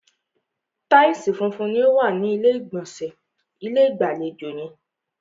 Taìsì funfun ni o wa ni ilé ìgbọ̀nsẹ̀ ilé-ìgbàlejò yẹn.